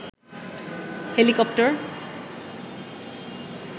helicopter